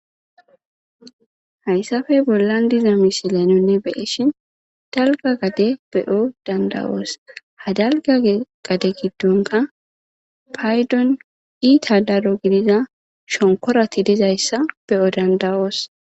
hayssafey bollan diza misile nunne be'eshin dalga gade beyo dandawoos hadalga gade giddonka paydon iita daro gidiza shonkorati dizayssa beyo dandawoos